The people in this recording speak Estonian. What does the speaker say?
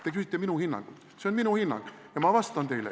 Te küsite minu hinnangut, see on minu hinnang ja ma vastan teile.